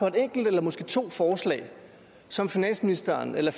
et enkelt eller måske to forslag som finansministeren eller